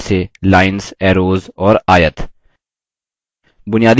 बुनियादी आकार जैसेlines arrows और आयत